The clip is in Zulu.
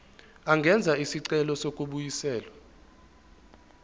angenza isicelo sokubuyiselwa